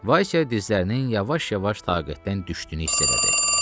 Vaysya dizlərinin yavaş-yavaş taqətdən düşdüyünü hiss elədi.